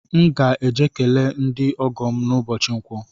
M ga-eje ekele ndị ọgọ m n’ụbọchi nkwọ